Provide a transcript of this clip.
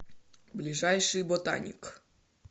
ближайший ботаник